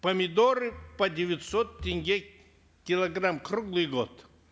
помидоры по девятьсот тенге килограмм круглый год